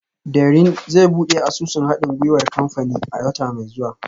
Dẹrín zai buɗe asusun haɗin gwiwar kamfanin a wata mai zuwa